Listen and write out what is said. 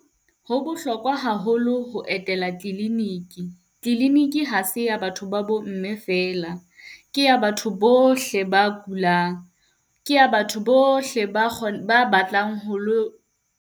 Ho bohlokwa haholo ho etela kliniki, kliniki ha se ya batho ba bo mme feela. Ke ya batho bohle ba kulang. Ke ya batho bohle ba , ba batlang ho .